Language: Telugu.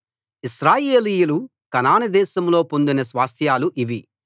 ఇశ్రాయేలీయులు కనాను దేశంలో పొందిన స్వాస్థ్యాలు ఇవి